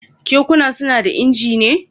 Kekuna suna da injina?